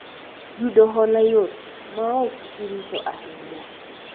yudo hola yot ,ma ok irito ahinya